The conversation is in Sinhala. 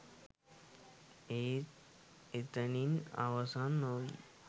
එය එතනින් අවසන් නොවී